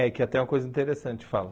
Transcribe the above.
É, que até é uma coisa interessante, fala.